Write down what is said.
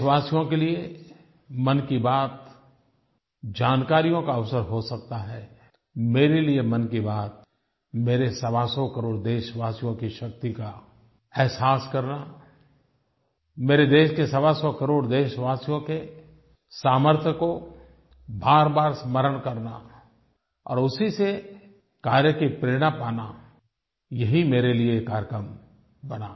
देशवासियों के लिये मन की बात जानकारियों का अवसर हो सकता है मेरे लिये मन की बात मेरे सवासौ करोड़ देशवासियों की शक्ति का एहसास करना मेरे देश के सवासौ करोड़ देशवासियों के सामर्थ्य को बारबार स्मरण करना और उसी से कार्य की प्रेरणा पाना यही मेरे लिये ये कार्यक्रम बना